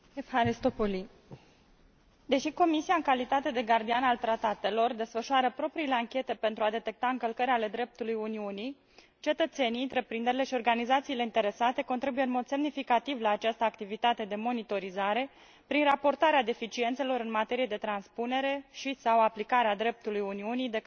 Deși Comisia, în calitate de gardian al tratatelor, desfășoară propriile anchete pentru a detecta încălcări ale dreptului Uniunii, cetățenii, întreprinderile și organizațiile interesate contribuie în mod semnificativ la această activitate de monitorizare, prin raportarea deficiențelor în materie de transpunere și sau aplicare a dreptului Uniunii de către autoritățile statelor membre.